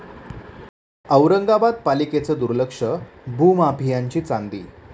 औरंगाबाद पालिकेचं दुर्लक्ष, भूमामियांची चांदी!